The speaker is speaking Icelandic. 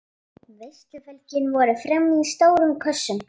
Veisluföngin voru frammi í stórum kössum.